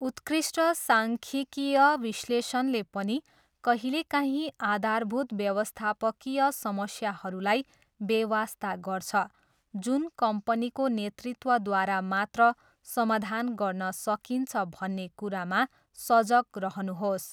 उत्कृष्ट साङ्ख्यिकीय विश्लेषणले पनि कहिलेकाहीँ आधारभूत व्यवस्थापकीय समस्याहरूलाई बेवास्ता गर्छ जुन कम्पनीको नेतृत्वद्वारा मात्र समाधान गर्न सकिन्छ भन्ने कुरामा सजग रहनुहोस्।